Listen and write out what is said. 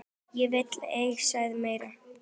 Ég vil ei segja meira.